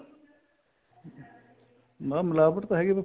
ਮੈਂ ਮਿਲਾਵਟ ਤਾਂ ਹੈਗੀ ਏ ਪਰ